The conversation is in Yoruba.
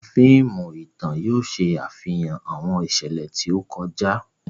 Awọn fíìmù ìtàn yóò ṣàfihàn awọn iṣẹlẹ ti o kọjá.